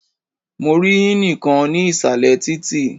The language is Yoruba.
Mo rí ínì kan ní ìsàlẹ̀ títì.